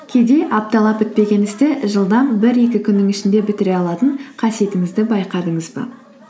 кейде апталап бітпеген істі жылдам бір екі күннің ішінде бітіре алатын қасиетімізді байқадыңыз ба